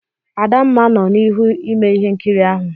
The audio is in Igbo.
Adamma nọ n'ihu ime ihe nkiri ahụ.